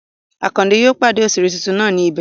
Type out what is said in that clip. Àkàndé yóò pàdé òṣèré tuntun náà ní ibí